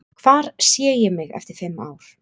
Hvar sé ég mig eftir fimm ár?